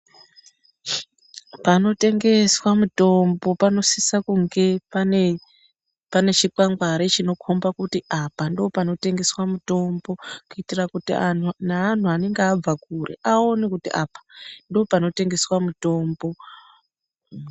Panotengeswa mutombo panosisa kunge pane chikwangwari chinokomba kuti apa ndoopanotengeswa mutombo. Kuitira kuti neanhu vanenge abva kure aone kuti apa ndoopanotengeswa mutombo.